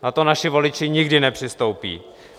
Na to naši voliči nikdy nepřistoupí.